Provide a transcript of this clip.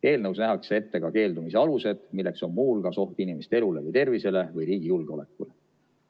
Eelnõus nähakse ette ka keeldumise alused, milleks on muu hulgas oht inimeste elule või tervisele või riigi julgeolekule.